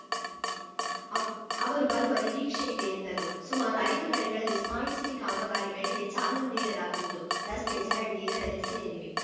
ಅವ್ ಅವರು ಬರುವ ನಿರೀಕ್ಷೆ ಇದೆ ಎಂದರು ಸುಮಾರು ಐದು ಕಡೆಗಳಲ್ಲಿ ಸ್ಮಾರ್ಟ್‌ಸಿಟಿ ಕಾಮಗಾರಿಗಳಿಗೆ ಚಾಲನೆ ನೀಡಲಾಗುವುದು ರಸ್ತೆ ಚರಂಡಿ ಇದರಲ್ಲಿ ಸೇರಿವೆ